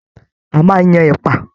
A máa n yan ẹpa.